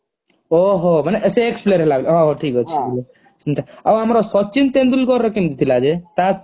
ଓହୋ ମାନେ ସେ ex- player ହେଲା ହୋଉ ଠିକ ଅଛି ଆଉ ଆମର ସଚିନ ତେନ୍ଦୁଲକର ର କେମତି ଥିଲା ଯେ